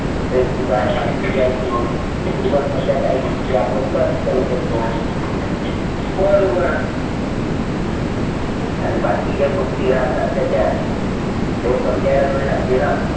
facebook आहे, बाकी जे आहे इओ google मधल्या काही गोष्टी आपण सर्च करू शकतो. मेल उघडू आणि बाकीच्या गोष्टी राहतात, त्याच्यात ते समजायला वेळ लागते ना.